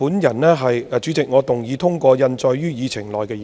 代理主席，我動議通過印載於議程內的議案。